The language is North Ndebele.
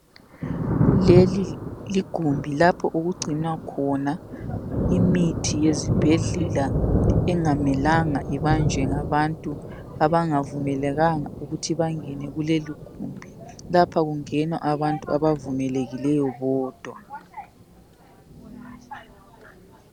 Leli ligumbi lapho okugcinwa khona imithi yezibhedlela engamelanga ibanjwe ngabantu abangavumelekanga ukuthi bangene kuleligumbi lapha kungena abantu abavumelekileyo bodwa.